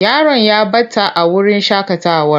Yaron ya ɓata a wurin shaƙatawar.